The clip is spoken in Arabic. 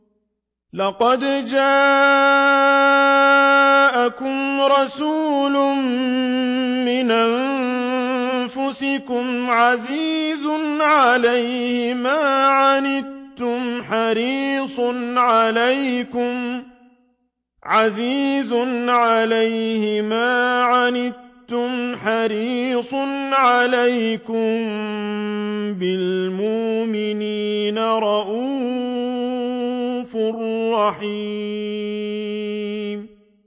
لَقَدْ جَاءَكُمْ رَسُولٌ مِّنْ أَنفُسِكُمْ عَزِيزٌ عَلَيْهِ مَا عَنِتُّمْ حَرِيصٌ عَلَيْكُم بِالْمُؤْمِنِينَ رَءُوفٌ رَّحِيمٌ